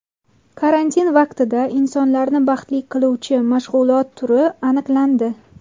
Karantin vaqtida insonlarni baxtli qiluvchi mashg‘ulot turi aniqlandi.